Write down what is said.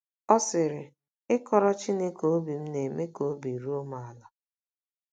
Ọ sịrị: “ Ịkọrọ Chineke obi m na - eme ka obi ruo m ala.